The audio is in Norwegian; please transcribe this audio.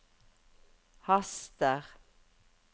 haster